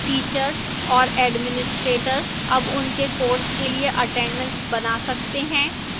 teachers और administrators अब उनके courses के लिए attendance बना सकते हैं